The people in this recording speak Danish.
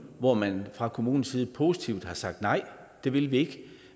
hvor man fra kommunens side positivt har sagt nej at det vil de ikke